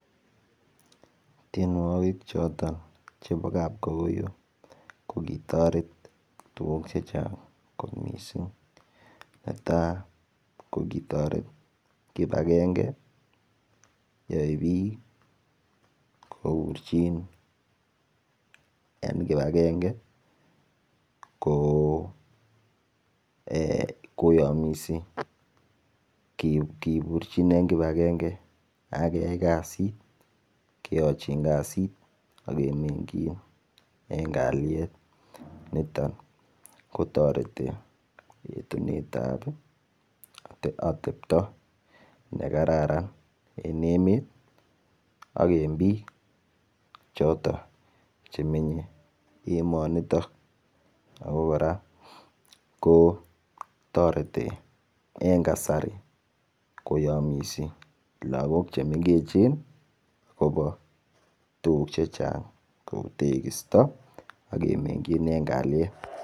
Tienwokik choton chebo kapkokoyo ko kitoret tuguk chechang' kot missing' netaa ko kitoret kibangenge ab biik koburjin en kibangenge ko ee koyomisi kiburjin en kibangenge ak keyay kazit keyonjin kazit ak kemengyin en ngaliet niton ko toreti yetunetab otepto ne kararan en emet ak biik choton che menye emoni niton ak koraa ko toreti en kasari koyomise logok che mengechen en kasari akobo tuguk chechang' kouu tekisto ak kemengyin en kaliet